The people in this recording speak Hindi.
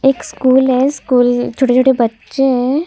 एक स्कूल है स्कूल छोटे-छोटे बच्चे है।